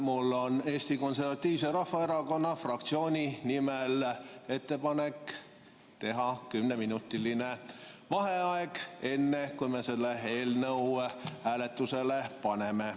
Mul on Eesti Konservatiivse Rahvaerakonna fraktsiooni nimel ettepanek teha kümneminutiline vaheaeg, enne kui me selle eelnõu hääletusele paneme.